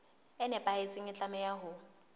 e nepahetseng e tlameha ho